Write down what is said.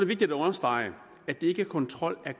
vigtigt at understrege at det ikke er kontrol af